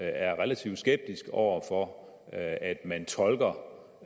er relativt skeptisk over for at at man tolker